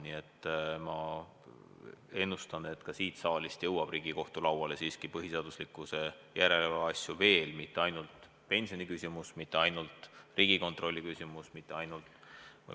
Nii et ma ennustan, et ka siit saalist jõuab Riigikohtu lauale põhiseaduslikkuse järelevalve asju veel – mitte ainult pensioniküsimus, mitte ainult Riigikontrolli küsimus, mitte ainult kriisiabi.